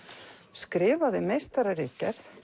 skrifaði meistararitgerð